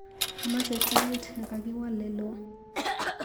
Amache tait nekakiwal leloo.